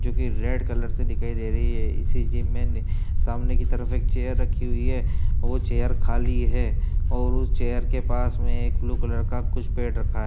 जो कि red colour से दिखाइ दे रही है। इसी जिम में न सामने की तरफ एक चेयर रखी हुई है। वो चेयर खाली है और उस चेयर के पास में कुछ ब्लू कलर का कुछ पेड रखा है।